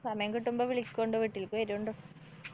സമയം കിട്ടുമ്പോ വിളിക്കൊണ്ടു. വീട്ടില്‍ക്ക്‌ വരോണ്ടു.